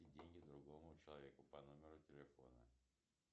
деньги другому человеку по номеру телефона